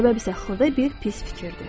Səbəb isə xırda bir pis fikirdir.